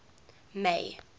may